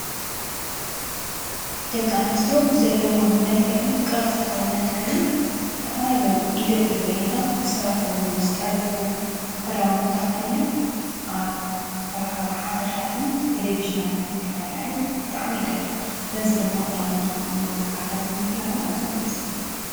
ደቂ አነስትዮ ብዘለወን መልክዕን ቅርፂ ሰውነተንን ዝተፈላለዩ ኢደ ጥበበኛታት ዝሰርሕዎም ዝጠለፍዎም ክዳውንቲ ተከዲነን ኣብ መራከቢ ሓፋሻትን ቴለቭዥናትን ክራኣያሉ ብጣዕሚ ይደልዩ፡፡ በዚ ድማ ክዳውንቶም ንወፃኢ ዓድታት ንምፍላጦም ኣዝዮም ደስ ይብሉ፡፡